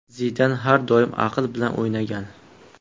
Zidan har doim aql bilan o‘ynagan.